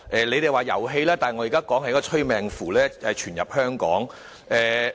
你們說是遊戲，但我現在說的是，一個催命符傳入香港。